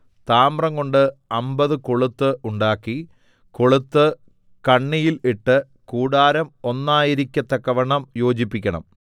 താമ്രംകൊണ്ട് അമ്പത് കൊളുത്ത് ഉണ്ടാക്കി കൊളുത്ത് കണ്ണിയിൽ ഇട്ട് കൂടാരം ഒന്നായിരിക്കത്തക്കവണ്ണം യോജിപ്പിക്കണം